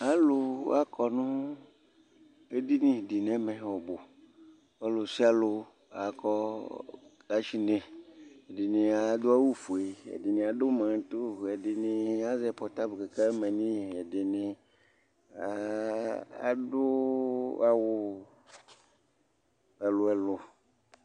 alò akɔ no edini di n'ɛmɛ ɔbu ɔlòsialò akɔ kashnɛ ɛdini adu awu fue ɛdini adu marato ɛdini azɛ pɔtable k'aka mane ɛdini adu awu ɛlò ɛlò